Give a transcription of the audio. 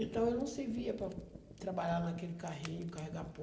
Então, eu não servia para trabalhar naquele carrinho, carregar pó.